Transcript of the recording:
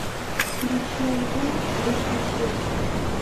включи альбом выше звезд